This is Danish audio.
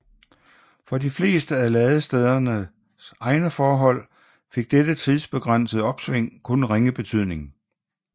For de fleste af ladestederne egne forhold fik dette tidsbegrænsede opsving kun ringe betydning